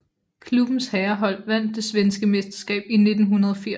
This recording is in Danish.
Klubbens herrehold vandt det svenske mesterskab i 1980